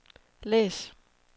læs